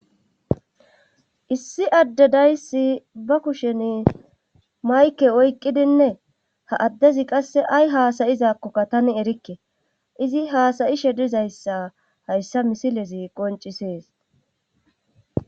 Issi adde dayssi ba kushen mayke oyqqidinne ha addezi qasse ay haasayizakkokka tani erikke izi haasayi shedizayssa hayssa misilezi qoncisees